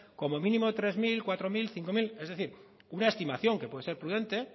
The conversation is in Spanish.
como mínimo tres mil cuatro mil cinco mil es decir una estimación que puede ser prudente